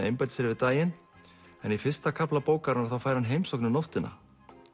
einbeita sér yfir daginn en í fyrsta kafla bókarinnar fær hann heimsókn um nóttina